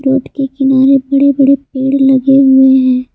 खेत के किनारे बड़े बड़े पेड़ लगे हुए हैं।